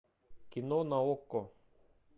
кино на окко